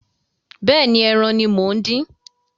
Bẹ́ẹ̀ni, ẹran ní mo ń dín